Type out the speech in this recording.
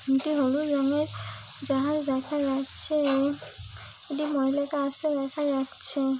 দুটি হলুদ রঙের জাহাজ দেখা যাচ্ছে এবং একটি মহিলাকে আসতে দেখা যাচ্ছে-এ।